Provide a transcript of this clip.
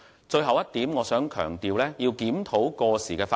最後一點，我想強調要檢討過時法例。